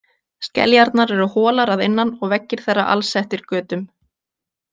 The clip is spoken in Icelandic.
Skeljarnar eru holar að innan og veggir þeirra alsettir götum.